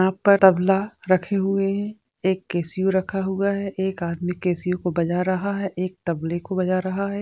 यहाँ पर तबला रखे हुए है एक कैसियो रख हुआ है एक आदमी कैसियो को बजा रहा है एक तबले को बजा रहा है।